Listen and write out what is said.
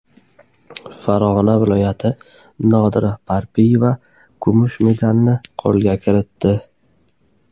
Farg‘ona viloyati Nodira Parpiyeva kumush medalni qo‘lga kiritdi.